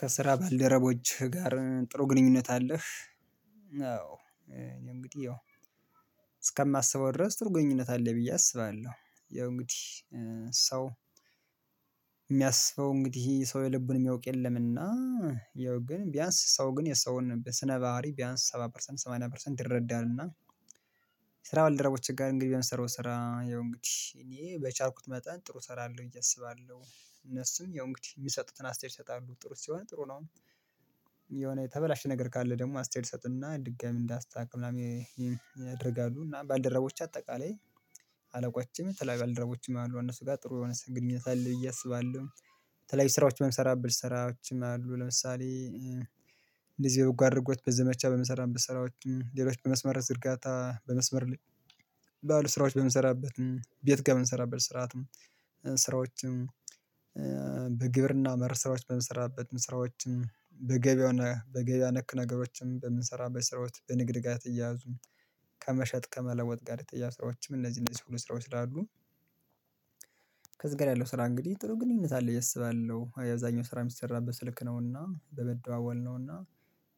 ከስራ ባልደረቦችህ ጋር ጥሩ ግንኙነት አለህ? አዎ እንግዲህ እስከማስበው ድረስ ጥሩ ግንኙነት አለኝ ብዬ አስባለሁ። የው እንግዲህ ሰው የልቡን የሚያዉቅ የለም እና ያው ግን ቢያንስ የሰዉን ስነ ባሀሪ ቢያንስ ሰባ ፐርሰንት ሰማንያ ፐርሰንት ይረዳናል። እና ስራ ባልደረቦችህ ጋር እንግዲህ የምሰራው ስራ ይኸው እንግዲህ እኔ በቻልኩት መጠን ጥሩ እሰራለሁ ብዬ አስባለሁ እነሱም የሆነ እንግዲህ የሚሰጡትን አስተያየት ይሰጣሉ ጥሩ ሲሆን ጥሩ ነው። የሆነ የተበላሸ ነገር ካለ ደግሞ አስተያየት ይሰጡና ድጋሜ እንዳስታካክል ምናምን ያደርጋሉ እና ባልደረቦች አጠቃላይ አለቆችም የተለያየ ባልደረቦችም አሉ እነሱ ጋር ጥሩ የሆነ ስንግ ግኝነት አለ ብዬ አስባለሁ። የተለያዩ ስራዎች በምሰራበት ስራዎችም አሉ ለምሳሌ እንደዚህ በጎ አድርጎት በዘመቻ በምሰራበት ስራዎችም ሌሎች በመስመር ዝርጋታ በመስመር ላይ ባሉ ስራዎች በምንሰራበት ቤት ጋር በምንሰራበት ስርዓትም ስራዎችም በግብርና መር ስራዎች በምንሰራበት ስራዎችም በገበያው በገበያ ነክ ነገሮችም በምንሰራበት ስራዎች በንግድ ጋር የተያያዙ ከመሸጥ ከመለወጥ ጋር የተያያዙ ስራዎችም እነዚህ እነዚህ ሁሉ ስራዎች ስላሉ ከዝጋር ያለው ስራ እንግዲህ ጥሩ ግንኙነት አለው። ብዬ እስባለሁ ያብዛኛው ስራ የሚሰራበት ስልክ ነውና በመደዋወል ነውና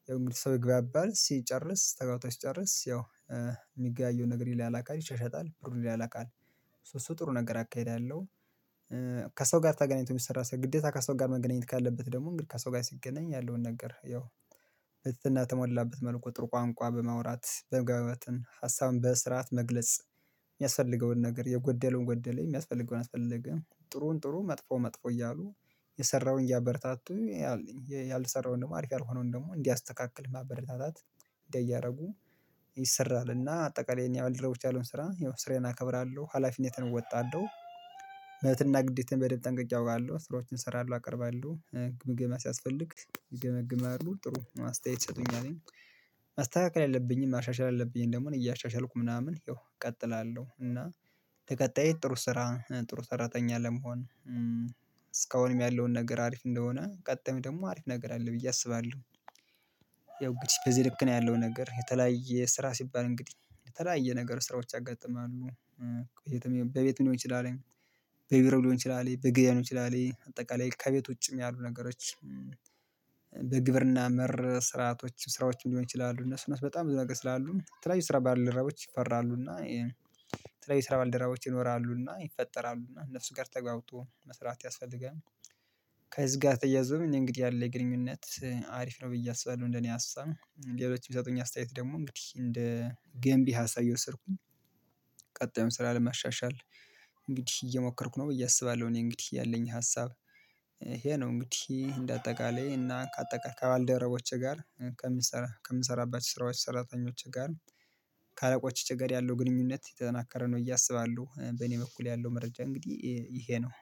ያው እንግዲህ ሰው ይግባባል ሲጨርስ ተግባብቶ ሲጨርስ ያው የሚገበያየውን ነገር ያላላካል ይሻሻጣል ብሩንይላላካል ሶ እሱ ጥሩ ነገር አካሂዳለሁ። ከሰው ጋር ተገናኝቶ የሚሰራ ሰው ግዴታ ከሰው ጋር መገናኘት ካለበት ደግሞ እንግዲህ ከሰው ጋር ሲገናኝ ያለውን ነገር ያው በትህትና ተሞላበት መልኩ ጥሩ ቋንቋ በማውራት በመገባባትን ሀሳብን በስርዓት መግለጽ የሚያስፈልገውን ነገር የጎደለውን ጎደለ የሚያስፈልገውን አስፈልገ ጥሩን ጥሩ መጥፎ መጥፎ እያሉ የሰራውን እያበረታቱ ያልሰራውን ደግሞ አሪፍ ያልሆነውን ደግሞ እንዲያስተካክል ማበረታታት እንዲያደርጉ ይሰራልና አጠቃላይ የኛ ባልደረቦች ያሉን ስራ ይሆን ስራዬ አከብራለሁ ሀላፊነትን እወጣለሁ። መብትና ግዴታዬን በደንብ ጠንቅቄ አውቃለሁ ስራዎችን እሰራለሁ አቀርባለሁ ግምገማ ሲያስፈልግ ይገመግማሉ ጥሩ ማስተያየት ይሰጡኛልኝ ማስተካከል ያለብኝን ማሻሻል አለብኝን ደግሞ እኔ እያሻሻልኩ ምናምን ይው እቀጥላለሁ እና ተቀጣይ ጥሩ ስራ ጥሩ ሰራተኛ ለመሆን እስካሁንም ያለውን ነገር አሪፍ እንደሆነ ቀጣዩ ደግሞ አሪፍ ነገር አለ ብዬ አስባለሁ። ያው እንግዲህ በዚህ ልክ ነው ያለውን ነገር የተለያየ ስራ ሲባል እንግዲህ የተለያየ ነገር ስራዎች ያጋጥማሉ በቤቱ ሊሆን ይችላል። በቢሮ ሊሆን ይችላል በግድያኖች ሊሆን ይችላል አጠቃላይ ከቤት ውጭም ያሉ ነገሮች በግብርና መር ስራአቶች ስራዎችም ሊሆን ይችላሉ እነሱ እነሱ በጣም ብዙ ነገር ስላሉ የተለያዩ ስራ ባልደራቦች ይፈራሉና የተለያዩ ስራ ባልደራቦች ይኖርሉ እና ይፈጠራሉና እነሱ ጋር ተግባብቶ መስራት ያስፈልጋል። ከዚህ ጋር ተያይዞ እንግዲህ ያለ ግንኙነት አሪፍ ነው ብዬ አስባለሁ። እንደኔ ሀሳብ ሌሎች የሚሰጡኝ አስተያየት ደግሞ እንግዲህ እንደ ገንቢ ሀሳብ እየወሰድኩኝ ቀጣዩን ስራ ለማሻሻል እንግዲህ እየሞከርኩ ነው ብዬ አስባለሁ። እኔ እንግዲህ ያለኝ ሀሳብ ይሄ ነው እንግዲህ እንደ አጠቃላይ እና ከአጠቃላይ ከባልደረቦቼ ጋር ከምሰራባቸው ስራዎች ሰራተኞች ጋር ከአለቆቼ ጋር ያለው ግንኙነት የተጠናከረ ነው ብዬ እያሰባሉ በእኔ በኩል ያለው መረጃ እንግዲህ ይሄ ነው